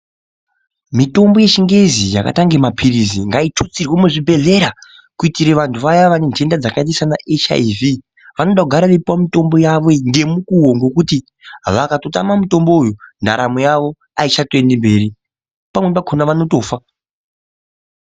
Mitombo yechingezi yakaitenge mapiritsi ngaitutsirwe muzvibhedhlera kuitire vanhu vaya vane nhenda dzakaite seanaHIV vanoda kugara veipuwa mitombo yavo ngemukuwo ngekuti vakatotama mutombo uyu ndaramo yavo aichatoendi mberi pamweni pakhona vanotofa.